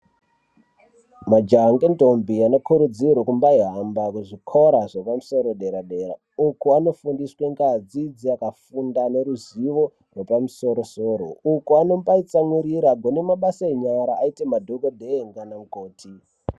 Majaha nendombi anokurudzirwa kumbaihamba kuzvikora zvepamusoro dera dera. Uko anofundiswa ngadzidzo yakafunda neruzivo rwepamusoro soro. Uko anombatsamwirira kune mabasa enyara aite madhokodheye nanamukoti